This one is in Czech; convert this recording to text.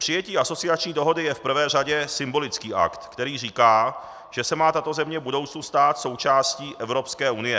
Přijetí asociační dohody je v prvé řadě symbolický akt, který říká, že se má tato země v budoucnu stát součástí Evropské unie.